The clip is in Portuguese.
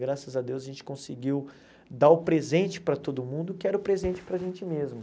Graças a Deus a gente conseguiu dar o presente para todo mundo, que era o presente para a gente mesmo.